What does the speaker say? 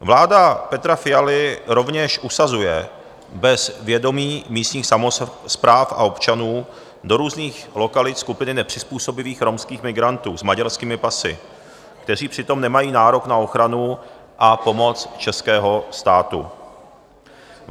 Vláda Petra Fialy rovněž usazuje bez vědomí místních samospráv a občanů do různých lokalit skupiny nepřizpůsobivých romských migrantů s maďarskými pasy, kteří přitom nemají nárok na ochranu a pomoc českého státu.